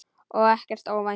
Og ekkert óvænt.